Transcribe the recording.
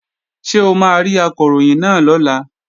Ṣé o máa rí Akọ̀ròyìn náà lọ́la?